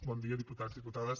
bon dia diputats diputades